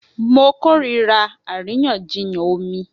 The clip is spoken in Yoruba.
Mo kórìíra àríyànjiyàn omi